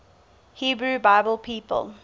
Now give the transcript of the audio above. hebrew bible people